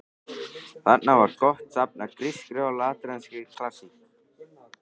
Þarna var gott safn af grískri og latneskri klassík.